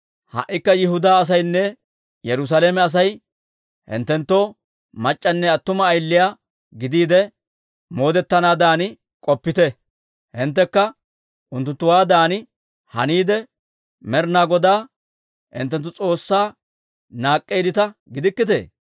Ha"ikka Yihudaa asaynne Yerusaalame Asay hinttenttoo mac'c'anne attuma ayiliyaa gidiide, moodetanaadan k'oppiita. Hinttekka unttunttuwaadan haniide, Med'inaa Godaa hinttenttu S'oossaa naak'k'eeddita gidikkitee?